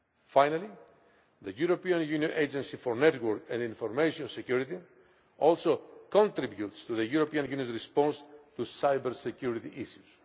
Finally, the European Union Agency for Network and Information Security also contributes to the European Union's response to cyber security issues.